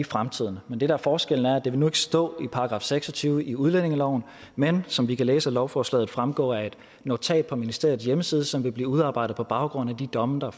fremtiden det der er forskellen er at det nu ikke stå i § seks og tyve i udlændingeloven men som vi kan læse af lovforslaget fremgå af et notat på ministeriets hjemmeside som vil blive udarbejdet på baggrund af de domme der